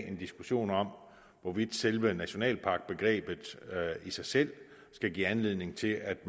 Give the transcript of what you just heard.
en diskussion om hvorvidt selve nationalparkbegrebet i sig selv skal give anledning til at